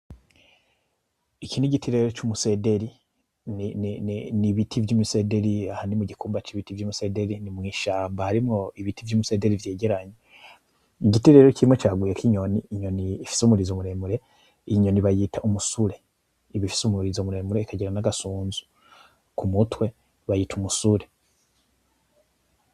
Iki nigiti rero cumusederi, nibiti vyumusederi, aha ni mukumba cibiti vyumusederi ni mwishamba harimwo ibiti vyumusederi vyegeranye. Igiti rero kimwe caguyeko inyoni, inyoni ifise umurizo muremure, iyi nyoni bayita umusure iba ifise umurizo muremure ikagira nagasunzu, kumutwe bayita umusure.